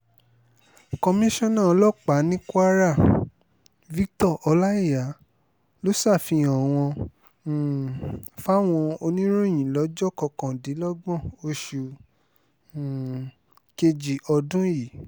komisanna ọlọ́pàá ní kwara cc victor ọláíyà ló ṣàfihàn wọn um fáwọn oníròyìn lọ́jọ́ kọkàndínlọ́gbọ̀n oṣù um kejì ọdún yìí